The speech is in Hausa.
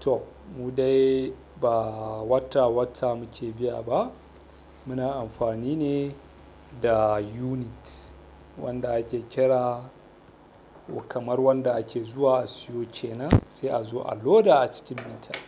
To mu dai ba wata wata mu ke biya ba. Muna amfani ne da unit wanda ake kira kamar wanda ake zuwa a siyo kenan a sai a zo a loda a cikin mitar.